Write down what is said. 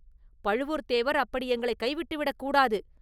பழுவூர்த்தேவர் அப்படி எங்களைக் கைவிட்டு விடக் கூடாது.